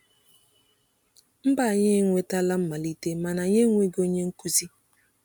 “Mba anyị e nwetala mmalite mana anyị enweghị onye nkuzi.”